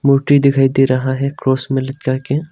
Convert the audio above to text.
मूर्ति दिखाई दे रहा है क्रॉस में लटका के।